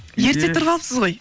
ерте тұрып алыпсыз ғой